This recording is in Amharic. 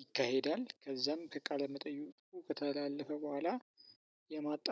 ይካሄዳል። ከዛም ከቃለ መጠየቁ ከተላለፈ በኋላ የማጣ